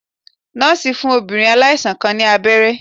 Nọ́ọ̀sì ń fún obìnrin aláìsàn kan ní abẹ́rẹ́